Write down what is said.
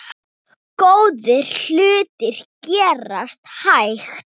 Góðir hlutir gerast hægt.